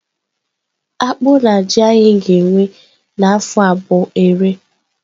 Akpụ na ji anyị ga-ewe n'afọ a bụ ere.